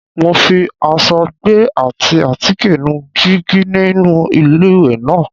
Mo fi aṣọ tó gbẹ ati àtíkè nu jígí inú iléwẹ̀ náà.